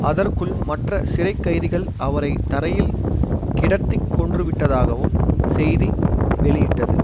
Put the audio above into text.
அதற்குள் மற்ற சிறை கைதிகள் அவரை தரையில் கிடத்திக் கொன்றுவிட்டதாகவும் செய்தி வெளியிட்டது